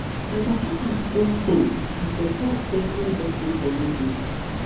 my papa heart just sink as dey talk say hold up dey for radio